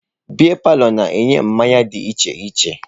Beia palọ na-enye mmanya dị iche iche